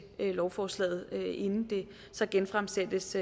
lovforslaget inden det så genfremsættes